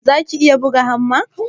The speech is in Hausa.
zaka iya buga hamma?